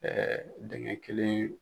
Ɛɛ dengɛn kelen